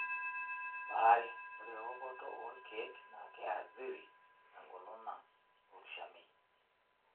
Baare. Ore ewokoto olkeek naa keathiri engolon ang' olkishamiet.